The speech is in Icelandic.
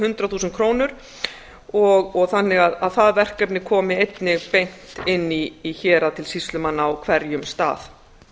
hundrað þúsund krónur þannig að það verkefni komi einnig beint inn í hérað til sýslumanna á hverjum stað